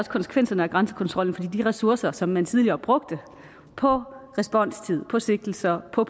konsekvenserne af grænsekontrollen fordi de ressourcer som man tidligere brugte på responstid på sigtelser på